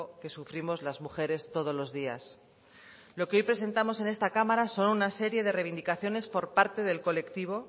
que sufrimos las mujeres todos los días lo que hoy presentamos en esta cámara son una serie de reivindicaciones por parte del colectivo